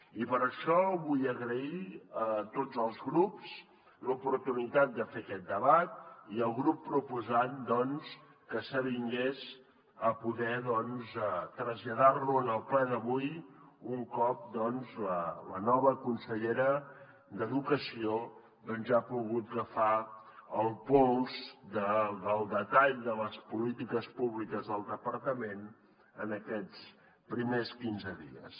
i per això vull agrair a tots els grups l’oportunitat de fer aquest debat i al grup proposant doncs que s’avingués a poder traslladar lo en el ple d’avui un cop doncs la nova consellera d’educació ja ha pogut agafar el pols del detall de les polítiques públiques del departament en aquests primers quinze dies